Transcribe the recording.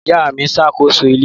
Ìyá mi ṣàkóso ilé.